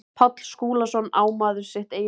Páll Skúlason, Á maður sitt eigið líf?